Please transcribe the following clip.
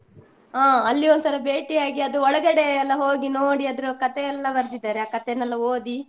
ಹಾ ಅಲ್ಲಿ ಒಂದ್ಸಲ ಬೇಟಿಯಾಗಿ ಅದು ಒಳಗಡೆಯೆಲ್ಲಾ ಹೋಗಿ ನೋಡಿ ಅದ್ರ ಕತೆಯೆಲ್ಲಾ ಬರ್ದಿದ್ದರೆ, ಆ ಕತೆನೆಲ್ಲ ಓದಿ.